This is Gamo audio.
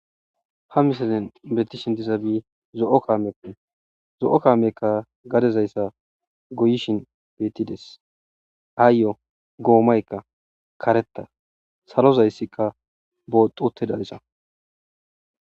ha misalen beeti shintiza bi zo7o kaamep zo7o kaamekka gadezayssa goyishin bettides haayyo goomaykka kareta salozayssikka booxotidayssa